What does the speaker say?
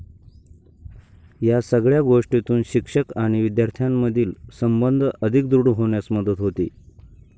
या सगळ्या गोष्टीतून शिक्षक आणि विद्यार्थ्यामधील संबंध अधिक दृढ होण्यास मदत होते.